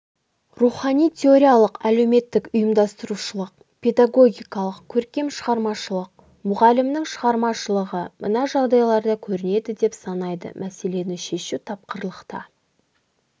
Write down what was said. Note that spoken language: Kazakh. рухани-теориялық әлеуметтік-ұйымдастырушылық педагогикалық көркем-шығармашылық мұғалімнің шығармашылығы мына жағдайларда көрінеді деп санайды мәселені шешудегі тапқырлықта